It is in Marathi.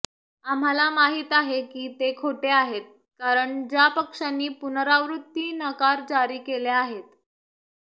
आम्हाला माहित आहे की ते खोटे आहेत कारण ज्या पक्षांनी पुनरावृत्ती नकार जारी केले आहेत